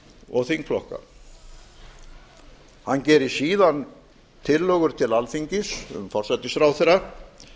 og þingflokka hann gerir síðan tillögur til alþingis um forsætisráðherra